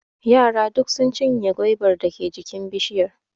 Yara duk sun cinye gwaibar dake jikin bishiyan.